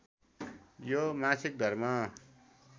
यो मासिक धर्म